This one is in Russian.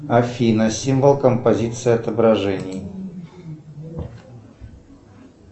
афина символ композиции отображений